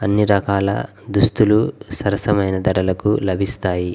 అన్నీ రకాల దుస్తులు సరసమైన ధరలకు లభిస్తాయి.